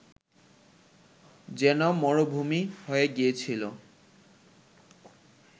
যেন মরুভূমি হয়ে গিয়েছিল